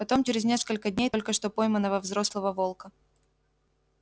потом через несколько дней только что пойманного взрослого волка